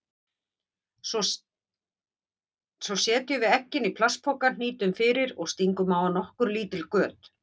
Svo setjum við eggin í plastpoka, hnýtum fyrir og stingum á hann nokkur lítil göt.